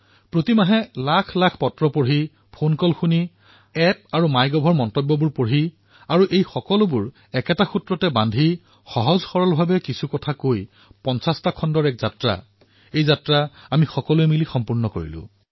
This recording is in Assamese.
প্ৰতি মাহতে লাখৰ সংখ্যাত পত্ৰসমূহ পঢ়ি ফোন কোন শুনি এপ আৰু মাই গভত কমেণ্টসমূহ পঢ়ি আৰু এই সকলোবোৰ এটা সূত্ৰত বান্ধি পাতলধেমেলীয়া কথা পাতি পাতি ৫০তম খণ্ডৰ এই যাত্ৰা আমি সকলোৱে মিলি অতিক্ৰম কৰিলো